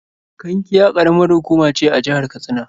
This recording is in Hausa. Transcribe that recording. Kankia ƙaramar hukuma ce a jihar Katsina.